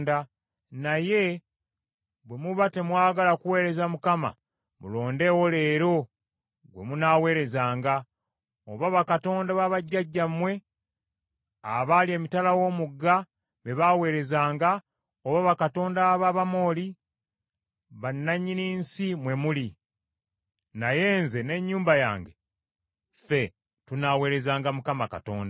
Naye bwe muba temwagala kuweereza Mukama , mulondeewo leero gwe munaaweerezanga; oba bakatonda babajjajjammwe abaali emitala w’omugga be baaweerezanga, oba bakatonda ab’Abamoli, bannannyini nsi mwe muli. Naye nze n’ennyumba yange, ffe tunaaweerezanga Mukama Katonda.”